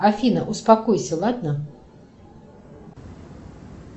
афина успокойся ладно